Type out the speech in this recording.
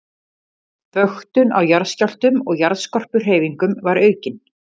Vöktun á jarðskjálftum og jarðskorpuhreyfingum var aukin.